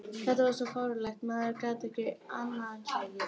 Þetta er svo fáránlegt að maður getur ekki annað en hlegið.